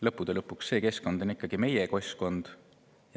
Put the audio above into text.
Lõppude lõpuks on see ikkagi meie keskkond.